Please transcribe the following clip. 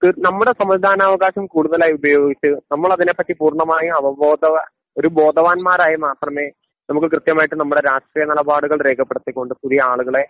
തീർ നമ്മുടെ സമ്മതിദാന അവകാശം കൂടുതലായി ഉപയോഗിച്ച് നമ്മളതിനെ പറ്റി പൂർണമായി അവബോധവാ ഒരു ബോധവാന്മാരായാൽ മാത്രമേ നമുക്ക് കൃത്യമായിട്ട് നമ്മുടെ രാഷ്ട്രീയ നിലപാടുകൾ രേഖപ്പെടുത്തിക്കൊണ്ട് പുതിയ ആളുകളെ